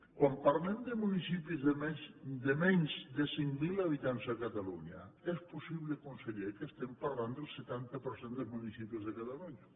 quan parlem de municipis de menys de cinc mil habitants a catalunya és possible conseller que estiguem parlant del setanta per cent dels municipis de catalunya